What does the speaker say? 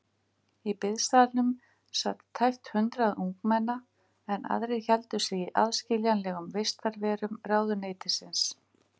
Í biðsalnum sat tæpt hundrað ungmenna, en aðrir héldu sig í aðskiljanlegum vistarverum ráðuneytisins.